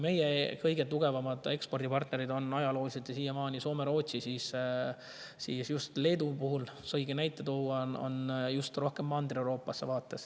Meie kõige tugevamad ekspordipartnerid on olnud ajalooliselt ja on siiamaani Soome ja Rootsi, aga just Leedu puhul saabki tuua näite, et nende vaates on rohkem Mandri-Euroopas.